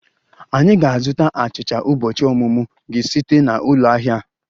Anyị ga-azụta achicha ụbọchị ọmụmụ gị site na ụlọ ahịa a